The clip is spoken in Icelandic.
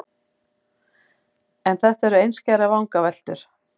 En þetta eru einskærar vangaveltur.